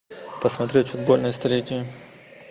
посмотреть футбольное столетие